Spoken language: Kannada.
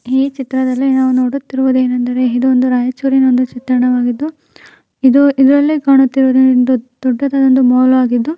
ಈ ಚಿತ್ರದಲ್ಲಿ ನಾವು ನೋಡುತ್ತಿರುವುದೇನೆಂದರೆ ಇದು ಒಂದು ರಾಯಚೂರಿನ ಒಂದು ಚಿತ್ರಣವಾಗಿದ್ದು ಇದು ಇದರಲ್ಲಿ ಕಾಣುತ್ತಿರುವುದು ಒಂದು ದೊಡ್ಡದಾದ ಮಾಲ್ ಆಗಿದ್ದು --